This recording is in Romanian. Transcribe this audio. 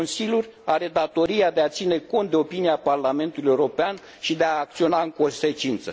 Consiliul are datoria de a ține cont de opinia Parlamentului European și de a acționa în consecință.